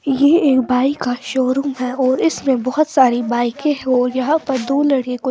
ये एक बाइक का शोरूम हैं और इसमें बहोत सारी बाइकें है और यहां पर दो लड़के कु--